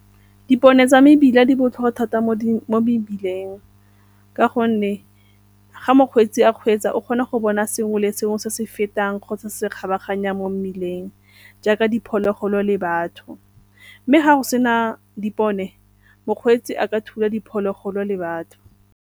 Dipone tsa mebila di botlhokwa thata mo mebileng ka gonne ga mokgweetsi a kgweetsa o kgona go bona sengwe le sengwe se se fetang kgotsa se kgabaganyang mo mmileng jaaka diphologolo le batho. Mme ga go sena dipone mokgweetsi a ka thula diphologolo le batho.